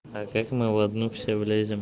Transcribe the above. а как мы в одну все влезим